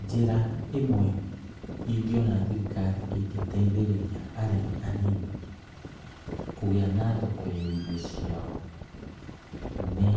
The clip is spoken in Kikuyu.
Njĩra ĩmwe ingĩona thirikari ĩngĩteithĩrĩria arĩmi anini, kũgĩa na thoko ya irio ciao, nĩ